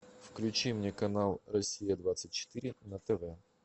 включи мне канал россия двадцать четыре на тв